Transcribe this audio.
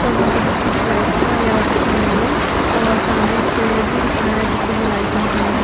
और वहां पे बहोत अच्छी लाइटिंग वगैरा भी की हुई है और सामने एक पेड़ भी दिख रहा जिसपे भी लाइटिंग हुईं है।